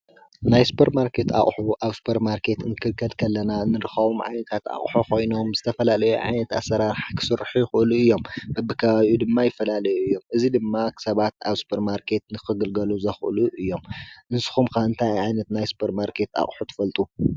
ሱፐርማርኬት ኣቁሑ ማለት ብበዝሖምን ብዓይነቶምን ፋልይ ዝበሉን ዝተፈላለዩ ኣቑሑ ዝሽየጠሉ ቦታ እዩ።